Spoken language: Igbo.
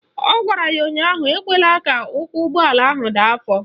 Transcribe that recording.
Ọ gwara ya ụnyaahụ "Ekwela ka ụkwụ ụgbọala ahụ daa afọ"!